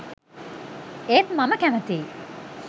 ඒත් මම කැමතියි